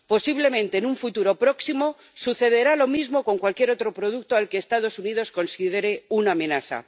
Posiblemente, en un futuro próximo, sucederá lo mismo con cualquier otro producto al que los Estados Unidos consideren una amenaza.